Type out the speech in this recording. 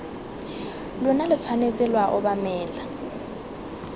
lona lo tshwanetse lwa obamela